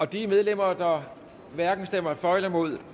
de medlemmer der hverken stemmer for eller imod